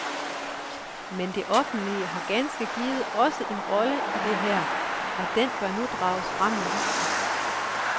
Men det offentlige har ganske givet også en rolle i det her, og den bør nu drages frem i lyset.